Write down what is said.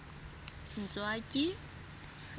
ntswaki